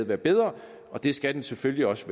være bedre og det skal den selvfølgelig også